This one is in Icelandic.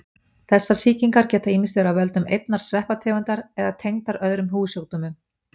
Þessar sýkingar geta ýmist verið af völdum einnar sveppategundar eða tengdar öðrum húðsjúkdómum.